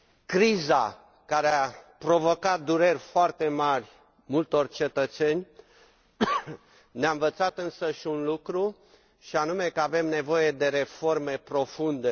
Criza care a provocat dureri foarte mari multor cetățeni ne a învățat însă un lucru, și anume că avem nevoie de reforme profunde.